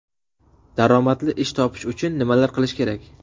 Daromadli ish topish uchun nimalar qilish kerak?